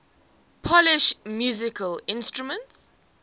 polish musical instruments